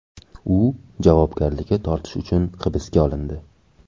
U javobgarlikka tortish uchun hibsga olindi.